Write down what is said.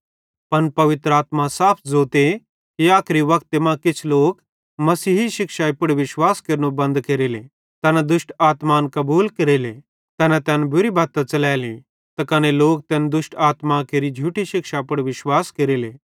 पन पवित्र आत्मा साफ ज़ोते कि आखरी वक्ते मां किछ लोक मसीही शिक्षाई पुड़ विश्वास केरनो बन्द केरेले तैना दुष्ट आत्मान कबूल केरेले तैना तैन बुरी बत्ती च़लैली त कने तैना लोक दुष्ट आत्मां केरि झूठी शिक्षाई पुड़ विश्वास केरेले